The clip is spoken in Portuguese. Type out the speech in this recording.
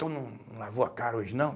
Tu não não lavou a cara hoje, não?